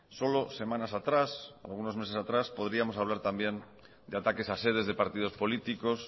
solo semanas atrás algunos meses atrás podríamos hablar también de ataques a sedes de partidos políticos